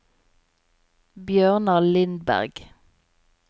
Bjørnar Lindberg